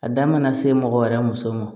A da mana se mɔgɔ wɛrɛ muso ma